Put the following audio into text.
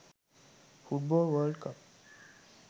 football world cup